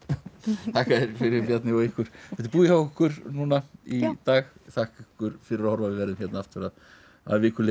þakka þér fyrir Bjarni og ykkur þetta er búið hjá okkur í dag þakka ykkur fyrir að horfa við verðum hér aftur að að viku liðinni